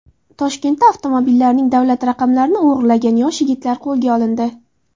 Toshkentda avtomobillarning davlat raqamlarini o‘g‘irlagan yosh yigitlar qo‘lga olindi.